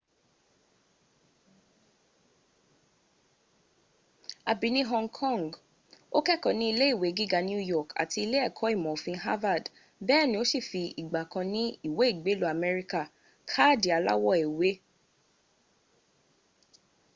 a bi ni hong kong ma kẹkọ ni ile iwe giga new york ati ile ẹkọ imọ ofin harvard bẹẹni o si fi igba kan ni iwe igbelu ameria kaadi alawọ ewe